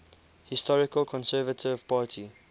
historical conservative party